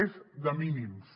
és de mínims